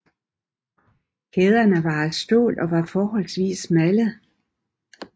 Kæderne var af stål og var forholdsvis smalle